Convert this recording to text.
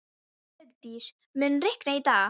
Hugdís, mun rigna í dag?